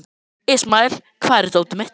Ismael, hvar er dótið mitt?